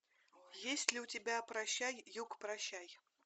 есть ли у тебя прощай юг прощай